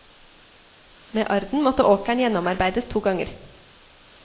Med arden måtte åkeren gjennomarbeides to ganger.